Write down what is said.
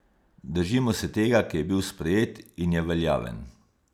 Držimo se tega, ki je bil sprejet in je veljaven.